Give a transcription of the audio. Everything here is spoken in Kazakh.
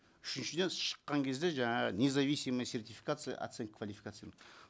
үшіншіден шыққан кезде жаңағы независимая сертификация оценки квалификации